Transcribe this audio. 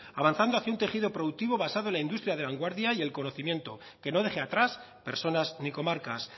avanzando hacia un tejido productivo basado la industria de vanguardia y el conocimiento que no deje atrás personas ni comarcas